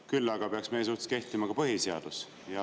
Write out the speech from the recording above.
Küll aga peaks meie suhtes kehtima põhiseadus.